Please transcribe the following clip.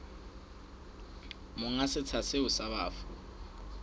monga setsha seo sa bafu